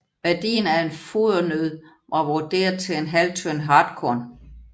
Værdien af en fodernød var vurderet til ½ tønde hartkorn